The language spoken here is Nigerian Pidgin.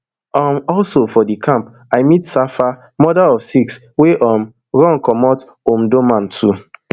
um also for di camp i meet safaa mother of six wey um run comot omdurman too